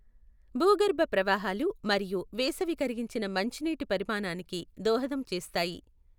భూగర్భ ప్రవాహాలు మరియు వేసవి కరిగించిన మంచు నీటి పరిమాణానికి దోహదం చేస్తాయి.